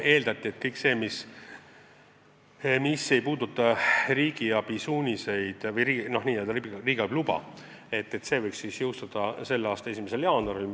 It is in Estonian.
Eeldati, et kõik see, mis ei olene riigiabi suunistest või riigiabi loast, võiks jõustada selle aasta 1. jaanuaril.